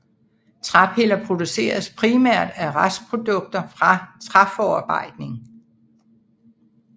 Træpiller produceres primært af restprodukter fra træforarbejdning